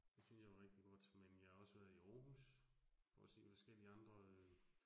Det synes jeg var rigtig godt, men jeg har også været i Aarhus for at se forskellige andre øh